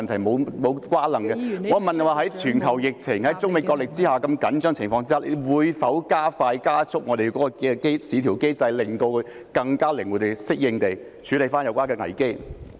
我問的是在全球疫情及中美角力如此緊張的情況下，局長會否加速優化我們的市調機制，令我們能更靈活及適應地處理有關危機？